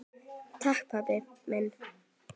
Takk pabbi minn.